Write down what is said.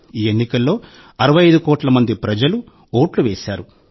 ఈ ఎన్నికల్లో 65 కోట్ల మంది ప్రజలు ఓట్లు వేశారు